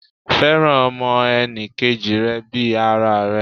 Fẹ́ràn ọmọ enì kejì rẹ bii ara rẹ